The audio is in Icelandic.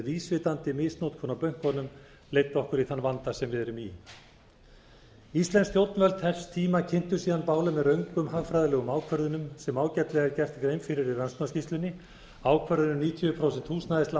vísvitandi misnotkun á bönkunum leiddu okkur í þeim vanda sem við erum í íslensk stjórnvöld þess tíma kynntu síðan bálið með röngum hagfræðilegum ákvörðunum sem ágætlega er gerð grein fyrir í rannsóknarskýrslunni ákvörðun um níutíu prósent húsnæðislán